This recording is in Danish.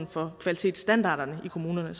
for kvalitetsstandarderne i kommunerne